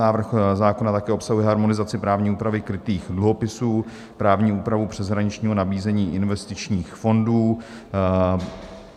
Návrh zákona také obsahuje harmonizaci právní úpravy krytých dluhopisů, právní úpravu přeshraničního nabízení investičních fondů.